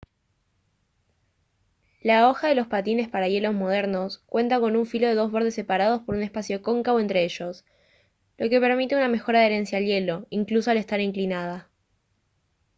la hoja de los patines para hielo modernos cuenta con un filo de dos bordes separados por un espacio cóncavo entre ellos lo que permite una mejor adherencia al hielo incluso al estar inclinada